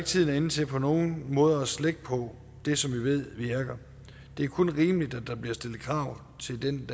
tiden er inde til på nogen måder at slække på det som vi ved virker det er kun rimeligt at der bliver stillet krav til den